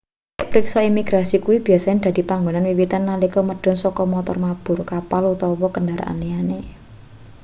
titik priksa imigrasi kuwi biyasane dadi panggonan wiwitan nalika medhun saka montor mabur kapal utawa kendharaan liyane